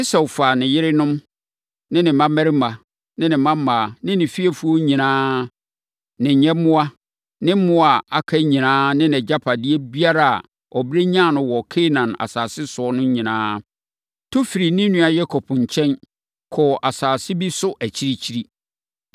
Esau faa ne yerenom, ne mmammarima, ne mmammaa, ne fiefoɔ nyinaa, ne nyɛmmoa ne mmoa a aka nyinaa ne nʼagyapadeɛ biara a ɔbrɛ nyaa no wɔ Kanaan asase so nyinaa, tu firii ne nua Yakob nkyɛn, kɔɔ asase bi so akyirikyiri.